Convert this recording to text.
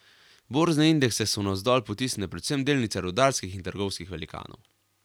Borzne indekse so navzdol potisnile predvsem delnice rudarskih in trgovskih velikanov.